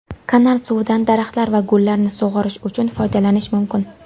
Kanal suvidan daraxtlar va gullarni sug‘orish uchun foydalanish mumkin.